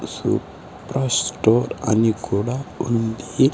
Super store అని కూడా ఉంది.